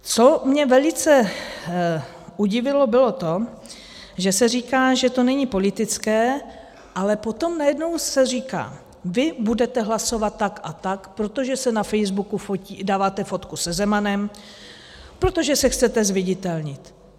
Co mě velice udivilo, bylo to, že se říká, že to není politické, ale potom najednou se říká: Vy budete hlasovat tak a tak, protože si na Facebook dáváte fotku se Zemanem, protože se chcete zviditelnit.